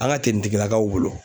An ka tenitigilakaw bolo